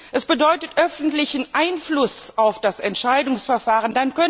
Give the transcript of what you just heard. Es bedeutet öffentlichen Einfluss auf das Entscheidungsverfahren!